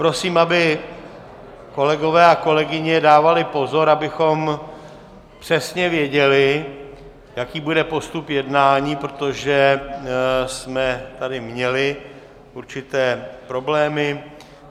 Prosím, aby kolegové a kolegyně dávali pozor, abychom přesně věděli, jaký bude postup jednání, protože jsme tady měli určité problémy.